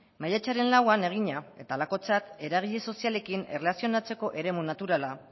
maiatzaren lauan egina eta halakotzat eragile sozialekin erlazionatzeko eremu naturala